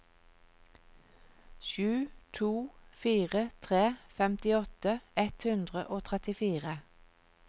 sju to fire tre femtiåtte ett hundre og trettifire